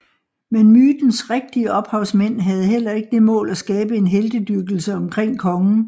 Men mytens rigtige ophavsmænd havde heller ikke det mål at skabe en heltedyrkelse omkring kongen